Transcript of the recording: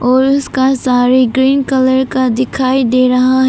और उसका सारी ग्रीन कलर का दिखाई दे रहा है।